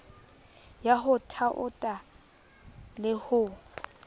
ya ho thaotha le ho